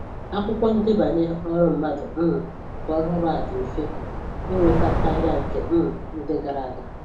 Akwụkwọ ndebanye ọrụ mmadụ um nke ọhụrụ a dị mfe ịnweta karịa nke um ndị gara aga